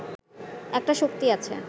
একটা শক্তি আছে